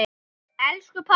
Elsku pabbi!